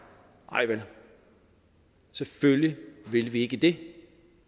nej vel selvfølgelig ville vi ikke det